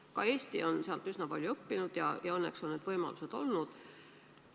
Ka Eesti on sealt üsna palju õppinud ja õnneks on selleks võimalusi olnud.